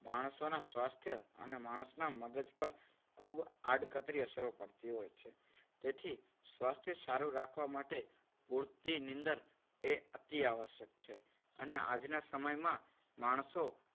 માણસોના સ્વાસ્થ્ય અને માણસના મગજ પર ખૂબ આડકતરી અસરો પડતી હોય છે. તેથી સ્વાસ્થ્ય સારું રાખવા માટે પૂરતી નીંદર એ અતિ આવશ્યક છે. અને આજના સમયમાં માણસો